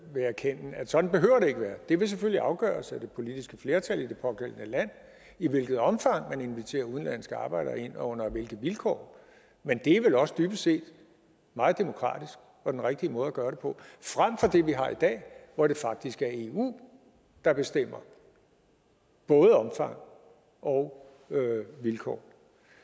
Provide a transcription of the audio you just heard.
vil erkende at sådan behøver det ikke være det vil selvfølgelig skulle afgøres af det politiske flertal i det pågældende land i hvilket omfang man inviterer udenlandske arbejdere ind og under hvilke vilkår men det er vel også dybest set meget demokratisk og den rigtige måde at gøre det på frem for det vi har i dag hvor det faktisk er eu der bestemmer både omfang og vilkår